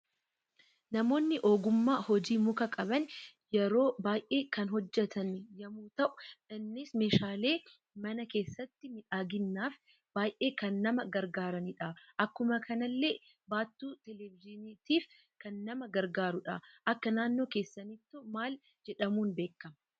Namoonni ogumma hojii muka qaban yeroo baay'ee kan hojjetan yemmuu ta'u, innis meeshalee mana keessatti miidhaginaf baay'ee kan nama gargaaranidha. Akkuma kanalle baattuu televejiiniitif kan nama gargaarudha. Akka naannoo keessanito maal jedhamuudhan beekama?